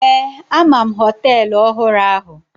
Ee, ama m hoteelu ọhụrụ ahụ.